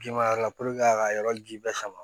Ji ma yɔrɔ la a ka yɔrɔ ji bɛɛ sama